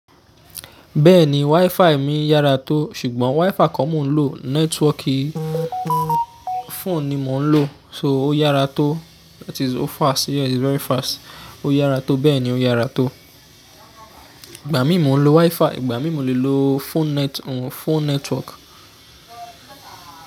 Bẹ́ẹ̀ni, WiFi mi yára tó, ṣùgbọ́n WiFi kọ́ mo ń lò. Nẹ́tíwọkì phone ni mo ń lò, so ó yára tó. That is, o fast, yeah, it's very fast. Ó yára tó, bẹ́ẹ̀ ni ó yára tó. Ìgbà mí mo ń lo WiFi, ìgbà mí mo lè lo phone net-- phone network.